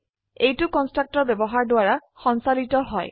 এইটো কন্সট্ৰাকটৰ ব্যবহাৰৰ দ্ৱাৰা সঞ্চালিত হয়